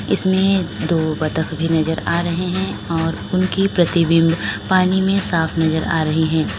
इसमें दो बतख भी नजर आ रहे हैं और उनके प्रतिबिंब पानी में साफ नजर आ रहे हैं।